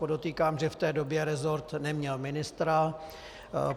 Podotýkám, že v té době resort neměl ministra.